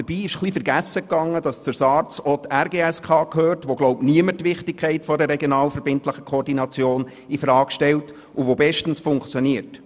Dabei ist vergessen gegangen, dass zur SARZ auch die RGSK gehört, wo niemand die Wichtigkeit einer regional verbindlichen Koordination infrage stellt und welche bestens funktioniert.